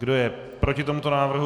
Kdo je proti tomuto návrhu?